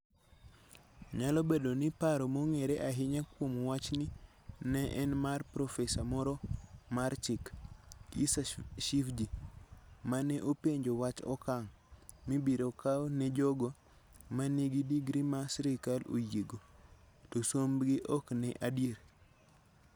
Nyalo bedo ni paro mong'ere ahinya kuom wachni ne en mar Profesa moro mar Chik, Issa Shivji, ma ne openjo wach okang ' mibiro kaw ne jogo ma nigi digri ma sirkal oyiego, to sombgi ok en adier.